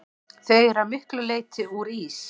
Þau eru að miklu leyti úr ís.